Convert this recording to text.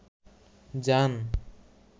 জান